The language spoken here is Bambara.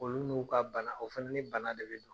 Olu n'u ka bana, o fɛnɛ ni bana de bɛna.